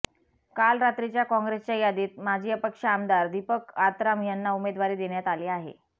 काल रात्रीच्या काँग्रेसच्या यादीत माजी अपक्ष आमदार दीपक आत्राम यांना उमेदवारी देण्यात आली आहे